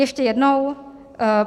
Ještě jednou.